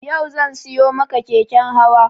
Yau zan siyo maka keken hawa